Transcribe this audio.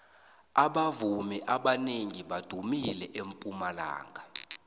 abavumi abanengi badumile empumalanga